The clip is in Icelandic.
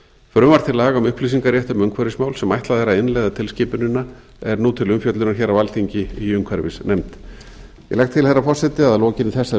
frumvarp til laga um umhverfismál sem ætlað er að innleiða tilskipunina er nú til umfjöllunar hér á alþingi í umhverfisnefnd ég legg til herra forseti að að lokinni þessari